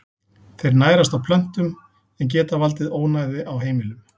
Þeir nærast á plöntum en geta valdið ónæði á heimilum.